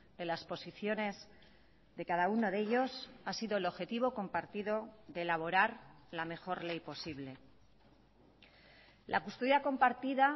de las posiciones de cada uno de ellos ha sido el objetivo compartido de elaborar la mejor ley posible la custodia compartida